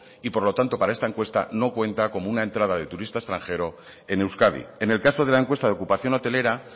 y por lo tanto para esta encuesta no cuenta como una entrada de turista extranjero en euskadi en el caso de la encuesta de ocupación hotelera